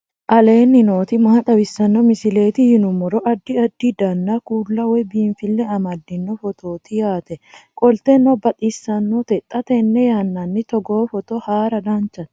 aleenni nooti maa xawisanno misileeti yinummoro addi addi dananna kuula woy biinfille amaddino footooti yaate qoltenno baxissannote xa tenne yannanni togoo footo haara danchate